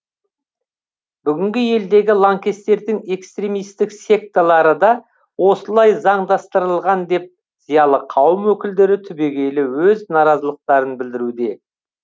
бүгінгі елдегі лаңкестердің экстремистік секталары да осылай заңдастырылған деп зиялы қауым өкілдері түбегейлі өз наразылықтарын білдіруде